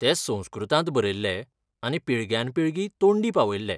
ते संस्कृतांत बरयल्ले आनी पिळग्यान पिळगी तोंडी पावयल्ले.